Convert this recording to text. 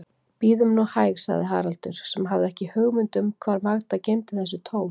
Bíðum nú hæg, sagði Haraldur, sem hafði ekki hugmynd um hvar Magda geymdi þessi tól.